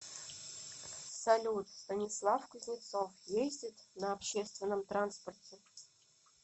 салют станислав кузнецов ездит на общественном транспорте